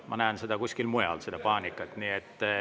Ma näen seda paanikat kuskil mujal.